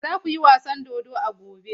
Za ku yi wasan dodo a gobe!